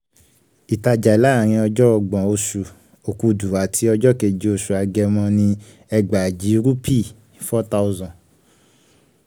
ìtajà láàárín ọjọ́ ọgbọ̀n oṣù okúdù ati ọjọ́ keje oṣù agẹmọ ni ẹgbàájì rúpì ( four thousand ).